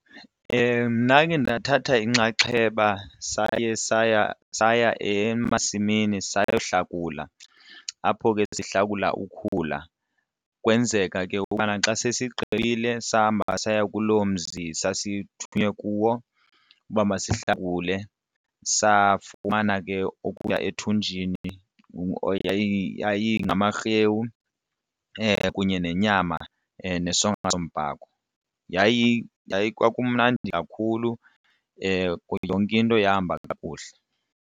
Ndakhe ndathatha inxaxheba saye saya saya emasimini sayohlakula apho ke sihlakula ukhula kwenzeka ke ngoku ukubana xa sesigqibile sahamba saya kuloo mzi sasithunywe kuwo uba masihlakule safumana ke okuya ethunjini yayingamarhewu kunye nenyama nesonka sombhako. kwakumnandi kakhulu yonke into yahamba kakuhle.